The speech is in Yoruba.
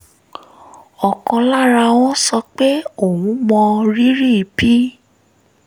ọ̀kan lára wọn sọ pé òun mọrírì bí